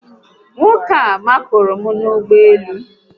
Nwoke a makụrụ m n'ime ụgbọélú